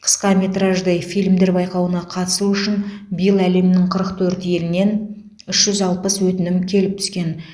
қысқаметражды фильмдер байқауына қатысу үшін биыл әлемнің қырық төрт елінен үш жүз алпыс өтінім келіп түскен